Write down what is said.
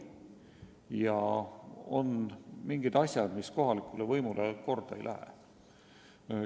Ja on mingid asjad, mis kohalikule võimule korda ei lähe.